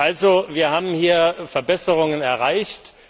Also, wir haben hier Verbesserungen erreicht.